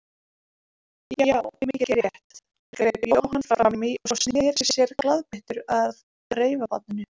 Já, mikið rétt, greip Jóhann fram í og sneri sér glaðbeittur að reifabarninu.